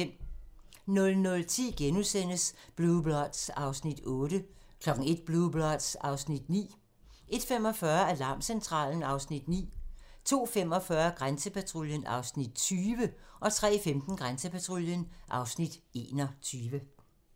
00:10: Blue Bloods (Afs. 8)* 01:00: Blue Bloods (Afs. 9) 01:45: Alarmcentralen (Afs. 9) 02:45: Grænsepatruljen (Afs. 20) 03:15: Grænsepatruljen (Afs. 21)